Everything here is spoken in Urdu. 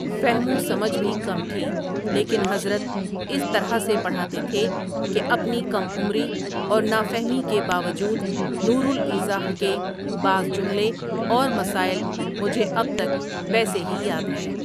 فہم وسمجھ بھی کم تھی، لیکن حضرتؒ اس طرح سے پڑھاتے تھے کہ اپنی کم عمری اور نافہمی کے باوجود نور الایضاح کے بعض جملے اور مسائل مجھے اب تک ویسے ہی یاد ہیں ۔